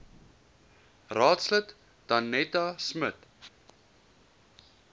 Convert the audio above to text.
raadslid danetta smit